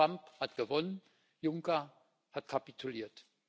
Trump hat gewonnen, Juncker hat kapituliert.